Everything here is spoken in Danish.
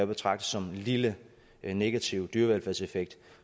betragte som lille negativ dyrevelfærdseffekt